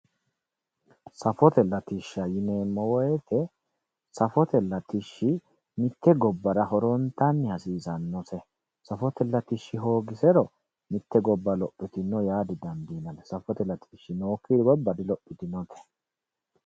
Safote latishsha yineemmo woyiite safote latishshi mitte gobbara lowontanni hasiisannose safote latishshi hoogisero mitte gobba lophitino yaa didandiinanni safote latishshi nookki gobba dilophitinote